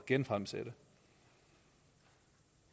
genfremsætte